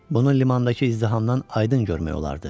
Bunu limandakı izdihamdan aydın görmək olardı.